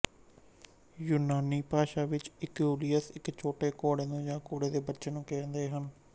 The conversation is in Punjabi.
ਯੂਨਾਨੀ ਭਾਸ਼ਾ ਵਿੱਚ ਇਕਊਲੀਅਸ ਇੱਕ ਛੋਟੇ ਘੋੜੇ ਨੂੰ ਜਾਂ ਘੋੜੇ ਦੇ ਬੱਚੇ ਨੂੰ ਕਹਿੰਦੇ ਹਨ